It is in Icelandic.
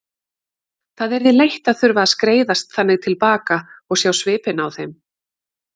Það yrði leitt að þurfa að skreiðast þannig til baka og sjá svipinn á þeim.